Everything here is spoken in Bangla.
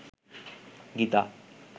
গীতা